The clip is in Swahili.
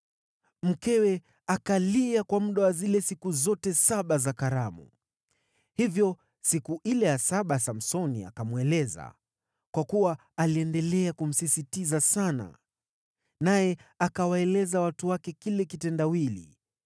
Mkewe akalia kwa muda wa zile siku zote saba za karamu. Hivyo siku ile ya saba Samsoni akamweleza, kwa kuwa aliendelea kumsisitiza sana. Naye akawaeleza watu wake kile kitendawili.